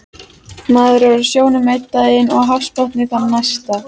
Maður er á sjónum einn daginn og hafsbotni þann næsta